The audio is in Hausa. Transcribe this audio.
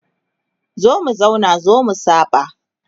zo mu zauna zo mu saba